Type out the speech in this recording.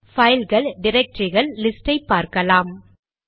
பைல்கள் டிரக்டரிகள் லிஸ்ட் ஐ பார்க்கலாம்